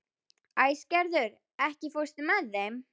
Æsgerður, ekki fórstu með þeim?